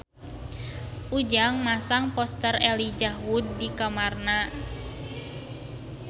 Ujang masang poster Elijah Wood di kamarna